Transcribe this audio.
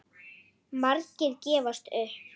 Margir gefast upp.